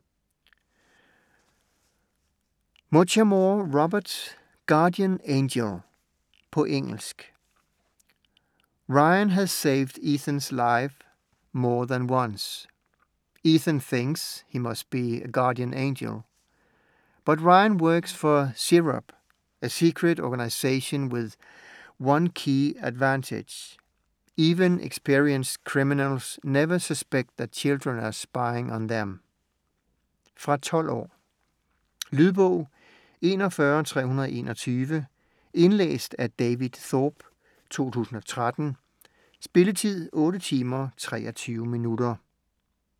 Muchamore, Robert: Guardian angel På engelsk. Ryan has saved Ethan's life more than once. Ethan thinks he must be a guardian angel. But Ryan works for CHERUB, a secret organisation with one key advantage: even experienced criminals never suspect that children are spying on them. Fra 12 år. Lydbog 41321 Indlæst af David Thorpe, 2013. Spilletid: 8 timer, 23 minutter.